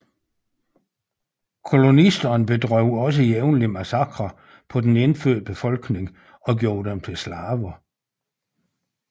Kolonisterne bedrev også jævnlige massakrer på den indfødte befolkning og gjorde dem til slaver